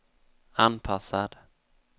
anpassad